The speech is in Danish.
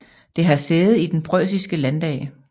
Det har sæde i Den preussiske landdag